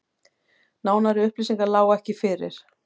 Nánari upplýsingar lágu ekki fyrir